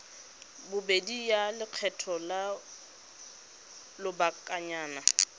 bobedi ya lekgetho la lobakanyana